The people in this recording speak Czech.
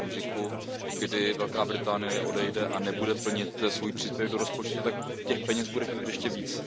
V okamžiku, kdy Velká Británie odejde a nebude plnit svůj příspěvek do rozpočtu, tak peněz bude chybět ještě víc.